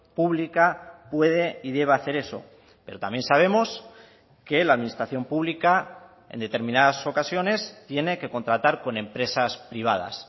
pública puede y debe hacer eso pero también sabemos que la administración pública en determinadas ocasiones tiene que contratar con empresas privadas